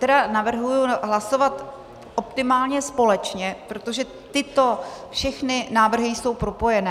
Tady navrhuji hlasovat optimálně společně, protože tyto všechny návrhy jsou propojené.